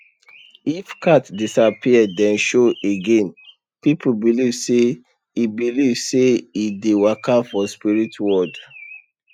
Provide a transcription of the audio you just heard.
if cat disappear then show again people believe say e believe say e dey waka for spirit world